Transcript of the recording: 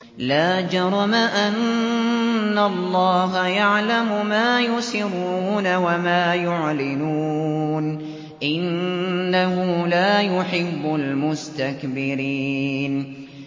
لَا جَرَمَ أَنَّ اللَّهَ يَعْلَمُ مَا يُسِرُّونَ وَمَا يُعْلِنُونَ ۚ إِنَّهُ لَا يُحِبُّ الْمُسْتَكْبِرِينَ